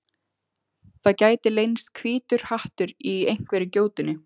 Það gæti leynst hvítur hattur í einhverri gjótunni.